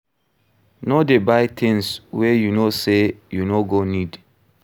No dey buy things wey you know sey you no go need